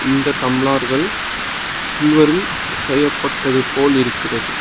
இந்த டம்ளர்கள் சில்வரில் செய்யப்பட்டதை போல் இருக்கிறது.